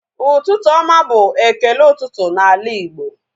Ụtụtụ oma bụ ekele ụtụtụ na ala Igbo